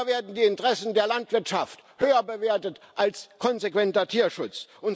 Immer werden die Interessen der Landwirtschaft höher bewertet als konsequenter Tierschutz.